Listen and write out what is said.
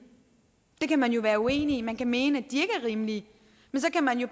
det kan man være uenig i man kan mene at de ikke er rimelige men så kan man jo